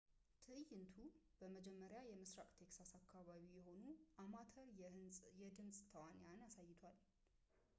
ትዕይንቱ በመጀመሪያ የምሥራቅ ቴክሳስ አካባቢ የሆኑ አማተር የድምፅ ተዋንያንን አሳይቷል